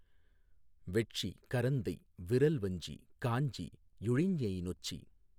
வெட்சி கரந்தை விறல்வஞ்சி காஞ்சி யுழிஞைநொச்சி